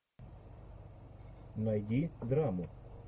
найди драму